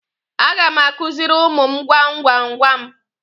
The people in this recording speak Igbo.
A ga m akuziri ụmụ m gwam gwam gwam.